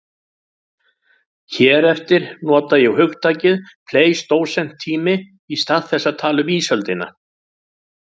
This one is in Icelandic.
Hér eftir nota ég hugtakið pleistósentími í stað þess að tala um ísöldina.